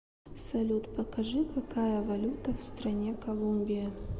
салют покажи какая валюта в стране колумбия